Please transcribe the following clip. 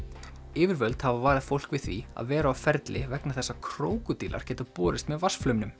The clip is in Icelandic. yfirvöld hafa varað fólk við því að vera á ferli vegna þess að krókódílar geta borist með